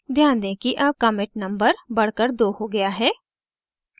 ध्यान दें कि अब commit number बढ़ कर 2 हो गया है